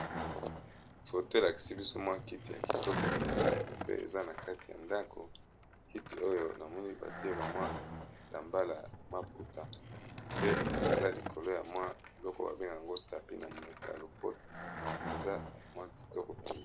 foto elakisi biso mwa kiti ya kitoko mpenza pe eza na kati ya ndako kiti oyo namoni batie bamwa la mbalay maputa pe eza likolo ya mwa eloko babenga yango stapi na monoko ya lopoto eza mwa kitoko pili